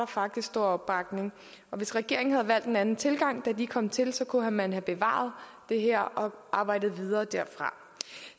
faktisk stor opbakning og hvis regeringen havde valgt en anden tilgang da den kom til så kunne man have bevaret det her og arbejdet videre derfra